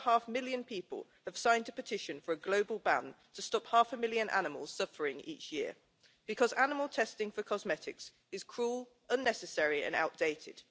6.5 million people have signed a petition for a global ban to stop half a million animals suffering each year, because animal testing for cosmetics is cruel, unnecessary and outdated.